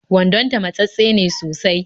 Wandonta matsattse ne sosai